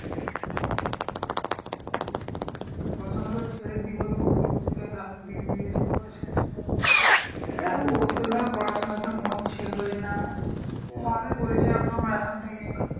পড়াশোনা তো ছেড়ে কি বলবো? ও তো ধর পড়াশোনাতেও মন ছিলই না। ভালোই করেছে এখন থেকেই